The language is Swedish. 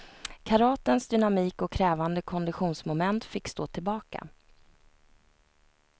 Karatens dynamik och krävande konditionsmoment fick stå tillbaka.